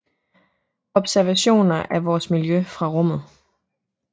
Observation af vores miljø fra rummet